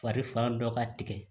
Fari fan dɔ ka tigɛ